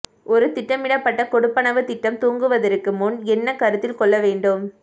ஒரு திட்டமிடப்பட்ட கொடுப்பனவு திட்டம் துவங்குவதற்கு முன் என்ன கருத்தில் கொள்ள வேண்டும்